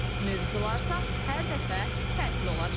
Mövzularsa hər dəfə fərqli olacaq.